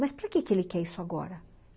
Mas para quê que ele quer isso agora?